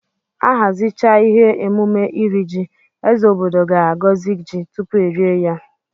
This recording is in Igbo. Ahazichaa ihe emume iri ji, eze obodo ga agozi ji tupu erie ya.